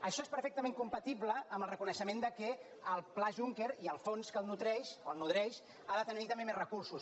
això és perfectament compatible amb el reconeixement que el pla juncker i el fons que el nodreix ha de tenir també més recursos